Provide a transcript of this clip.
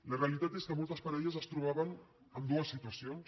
la realitat és que moltes parelles es trobaven amb dues situacions